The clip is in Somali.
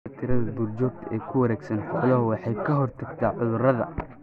Dhimista tirada duurjoogta ee ku wareegsan xooluhu waxay ka hortagtaa cudurrada.